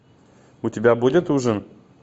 у тебя будет ужин